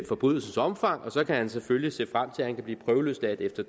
forbrydelsens omfang så kan han selvfølgelig se frem til at han kan blive prøveløsladt efter